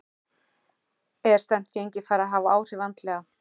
Er slæmt gengi farið að hafa áhrif andlega?